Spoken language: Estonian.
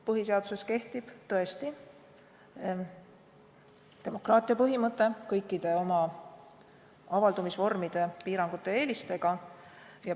Põhiseaduse järgi kehtib demokraatia põhimõte kõikide oma avaldumisvormide, piirangute ja eelistega.